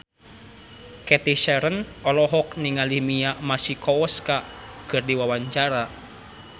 Cathy Sharon olohok ningali Mia Masikowska keur diwawancara